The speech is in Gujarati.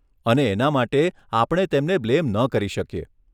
અને એના માટે આપણે તેમને બ્લેમ ન કરી શકીએ.